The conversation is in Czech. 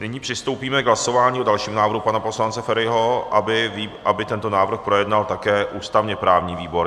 Nyní přistoupíme k hlasování o dalším návrhu pana poslance Feriho, aby tento návrh projednal také ústavně-právní výbor.